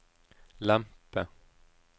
lempe